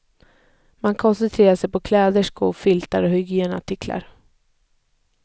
Man koncentrerar sig på kläder, skor, filtar och hygienartiklar.